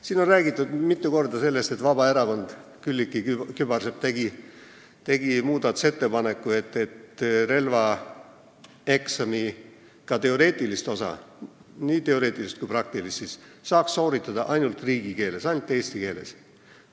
Siin on mitu korda räägitud sellest, et Vabaerakonnast Külliki Kübarsepp tegi muudatusettepaneku, et relvaeksami nii teoreetilist kui ka praktilist osa saaks sooritada ainult riigikeeles, ainult eesti keeles.